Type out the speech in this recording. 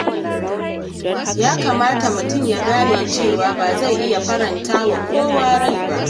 Ya kamata mutum ya gane cewa ba zai iya faranta wa kowa rai ba.